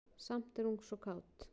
Samt er hún svo kát.